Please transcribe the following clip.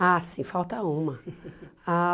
Ah, sim, falta uma. Ah